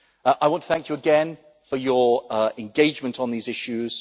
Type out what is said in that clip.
I want to thank you again for your engagement on these issues.